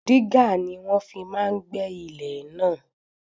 Dígà ni wọ́n fi máa gbẹ́ ilẹ̀ náà.